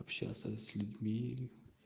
общаться с людьми